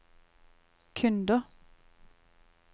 kunder